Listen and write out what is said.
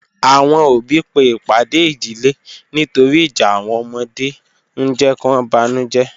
Awọn ọbí pe ipàdè ìdílẹ̀ nítòrì ìjà awọn ọmọdè n jẹ̀ kí wọn bánújẹ̀